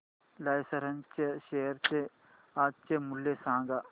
Larsen च्या share चे आजचे मूल्य सांगा